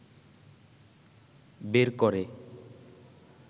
বের করে